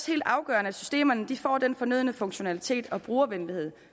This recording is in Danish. helt afgørende at systemerne får den fornødne funktionalitet og brugervenlighed